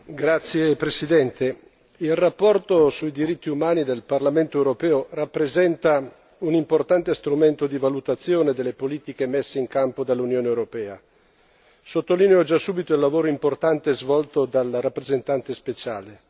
Signor Presidente, onorevoli colleghi, la relazione sui diritti umani del Parlamento europeo rappresenta un importante strumento di valutazione delle politiche messe in campo dall'Unione europea. Sottolineo già subito il lavoro importante svolto dal rappresentante speciale.